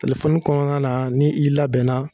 Telefɔni kɔnɔna na ni i labɛnna